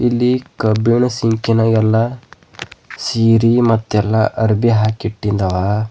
ಇಲ್ಲಿ ಕಬ್ಬಿಣ ಸಿಂಕಿನ ಎಲ್ಲ ಸೀರಿ ಮತ್ತೆಲ್ಲ ಅರ್ಬಿ ಹಾಕಿಟ್ಟಿದ್ದವ.